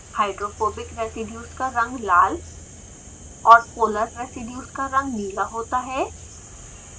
hydrophobic residues का रंग लाल और polar residues का रंग नीला होता है